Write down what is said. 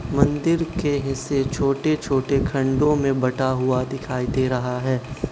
मंदिर के हिस्से छोटे छोटे खंडो में बटा हुआ दिखाई दे रहा है।